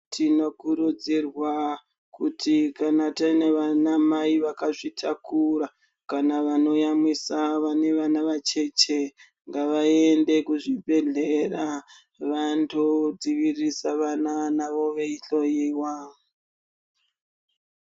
Tinokurudzirwa kuti kana tina vanamai vakazvitakura kana vanoyamwisa vane vana vacheche ngavaende kuzvibhehlera vandodzivirisa vana navo veihloyiwa.